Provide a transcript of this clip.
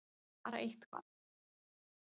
Bara eitthvað!!!